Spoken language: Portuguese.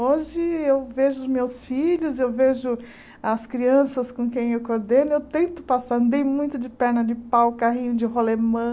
Hoje, eu vejo os meus filhos, eu vejo as crianças com quem eu coordeno, eu tento passar, andei muito de perna de pau, carrinho de rolemã.